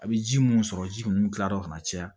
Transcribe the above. A bɛ ji mun sɔrɔ ji ninnu kilara ka na caya